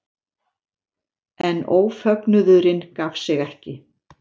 En ófögnuðurinn gaf sig ekki.